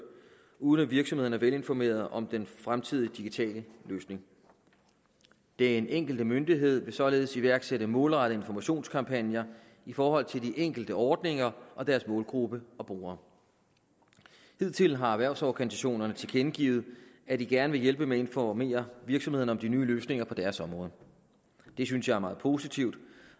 uden at virksomhederne er velinformerede om den fremtidige digitale løsning den enkelte myndighed vil således iværksætte målrettede informationskampagner i forhold til de enkelte ordninger og deres målgruppe og brugere hidtil har erhvervsorganisationerne tilkendegivet at de gerne vil hjælpe med at informere virksomhederne om de nye løsninger på deres områder det synes jeg er meget positivt